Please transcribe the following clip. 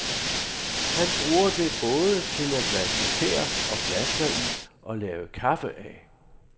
Han bruger det både til at vaske tæer og flasker i og lave kaffe af.